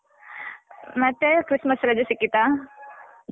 ಮತ್ತೆ Christmas ರಜೆ ಸಿಕ್ಕಿತಾ?